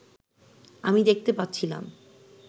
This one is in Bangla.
আমি দেখতে পাচ্ছিলাম